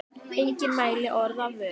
Enginn mælti orð af vörum.